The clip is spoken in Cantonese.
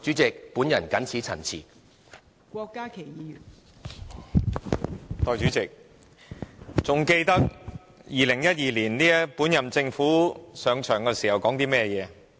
代理主席，大家還記得2012年本屆政府上場時說過甚麼？